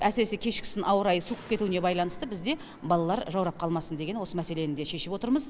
әсіресе кешкісін ауа райы суығып кетуіне байланысты бізде балалар жаурап қалмасын деген осы мәселені де шешіп отырмыз